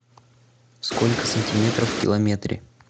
сколько сантиметров в километре